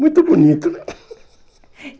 Muito bonito, né?